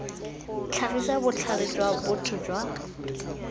tlhagisa botlhale jwa botho jwa